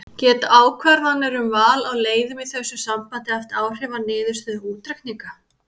Geta ákvarðanir um val á leiðum í þessu sambandi haft áhrif á niðurstöðu útreikninga?